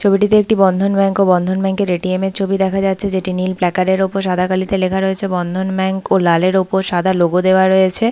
ছবিটিতে একটি বন্ধন ব্যাঙ্ক ও বন্ধন ব্যাঙ্ক এর এ.টি.এম. এর ছবি দেখা যাচ্ছে যেটি নীল প্যাকার্ড এর উপর সাদা কালিতে লেখা রয়েছে বন্ধন ব্যাঙ্ক ও লাল এর ওপর সাদা লোগো দেয়া রয়েছে--